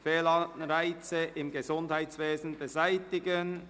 Fehlanreize im Gesundheitswesen beseitigen».